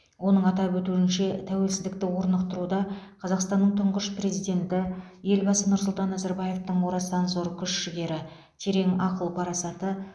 оның атап өтуінше тәуеліздікті орнықтыруда қазақстанның тұңғыш президенті елбасы нұрсұлтан назарбаевтың орасан зор күш жігері терең ақыл парасаты